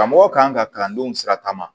Karamɔgɔ kan ka kalandenw sira ta